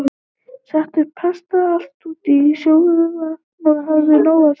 Settu pastað alltaf út í sjóðandi vatn og hafðu nóg af því.